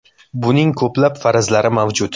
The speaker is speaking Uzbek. Buning ko‘plab farazlari mavjud.